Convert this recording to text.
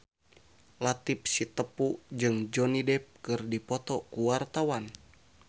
Latief Sitepu jeung Johnny Depp keur dipoto ku wartawan